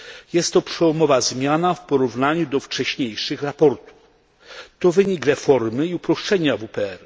Jest to przełomowa zmiana w porównaniu do wcześniejszych raportów. To wynik reformy i uproszczenia WPR.